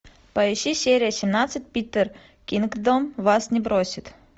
поищи серия семнадцать питер кингдом вас не бросит